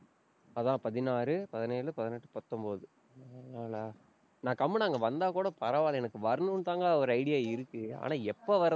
அதான் பதினாறு, பதினேழு, பதினெட்டு, பத்தொன்பது நாலு நாளா, நான் கம்முனு அங்க வந்தா கூட பரவால்ல, எனக்கு வரணும்னுதாங்க ஒரு idea இருக்கு. ஆனா, எப்ப வர்ற~